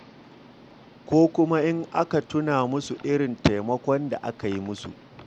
Ko kuma in aka tuna musu irin taimakon da aka yi musu.